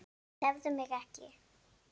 Tefðu mig ekki.